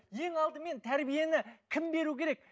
ең алдымен тәрбиені кім беру керек